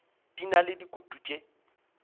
di na le dikutu tše